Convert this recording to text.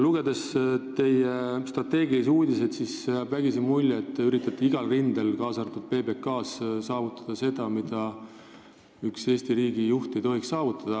Lugedes teie strateegilisi uudiseid, jääb vägisi mulje, et te üritate igal rindel, kaasa arvatud PBK-s, saavutada seda, mida üks Eesti riigi juht ei tohiks saavutada.